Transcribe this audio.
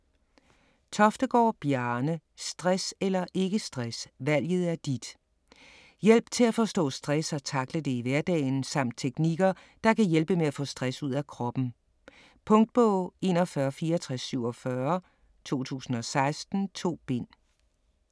Toftegård, Bjarne: Stress eller ikke stress - valget er dit Hjælp til at forstå stress og takle det i hverdagen samt teknikker der kan hjælpe med at få stress ud af kroppen. Punktbog 416447 2016. 2 bind.